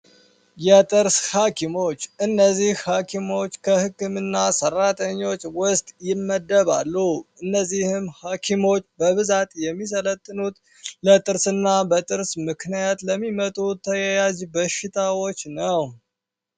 የጥርስ ሃኪሞች እነዚህ ሃኪሞች ከሕክም እና ሰራተኞች ውስጥ ይመደባሉ እነዚህም ሃኪሞች በብዛት የሚሰለትኑት ለጥርስ እና በጥርስ ምክንያት ለሚመጡ ተያዥ በሽታዎች ነው